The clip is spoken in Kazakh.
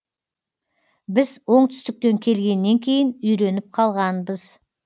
біз оңтүстіктен келгеннен кейін үйреніп қалғанбыз